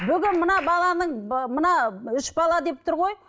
бүгін мына баланың мына үш бала деп тұр ғой